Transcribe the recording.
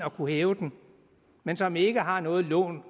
at kunne hæve dem men som ikke har noget lån